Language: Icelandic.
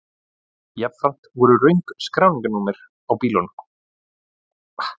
Jafnframt voru röng skráningarnúmer á bílnum